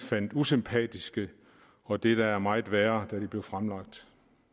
fandt usympatiske og det der er meget værre da de blev fremlagt